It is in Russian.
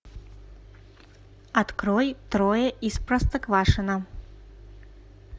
открой трое из простоквашино